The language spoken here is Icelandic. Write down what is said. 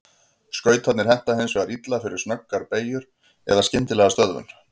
Skautarnir henta hins vegar illa fyrir snöggar beygjur eða skyndilega stöðvun.